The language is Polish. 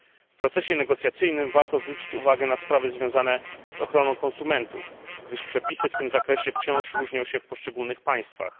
W procesie negocjacyjnym warto zwrócić uwagę na sprawy związane z ochroną konsumentów, gdyż przepisy w tym zakresie wciąż różnią się w poszczególnych państwach.